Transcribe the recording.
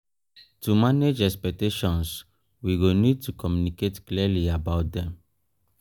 to manage expectations we go need to communicate clearly about them